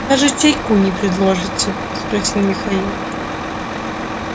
даже чайку не предложите спросил михаил